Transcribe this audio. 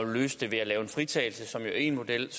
vil løse det ved at lave en fritagelse som jo er én model